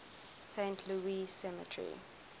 saint louis cemetery